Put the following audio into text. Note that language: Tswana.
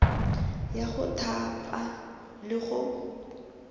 ya go thapa le go